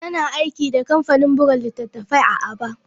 Tana aiki da kamfanin buga littattafai a Aba.